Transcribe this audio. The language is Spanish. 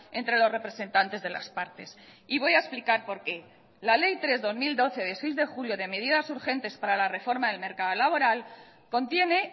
entre los representantes de las partes y voy a explicar por qué la ley tres barra dos mil doce de seis de julio de medidas urgentes para la reforma del mercado laboral contiene